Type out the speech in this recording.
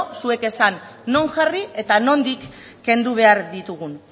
zuek esan non jarri eta nondik kendu behar ditugun